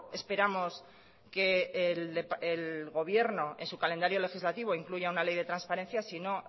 esperamos que el gobierno en su calendario legislativo incluya una ley de transparencia sino